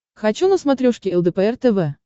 хочу на смотрешке лдпр тв